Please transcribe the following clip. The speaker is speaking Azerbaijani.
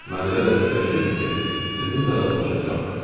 Mən elə də fikirləşirdim ki, sizinlə də rastlaşacam.